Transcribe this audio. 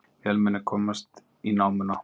Vélmenni komst í námuna